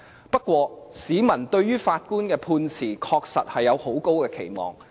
不過，市民對於法官的判詞，確實是有很高的期望。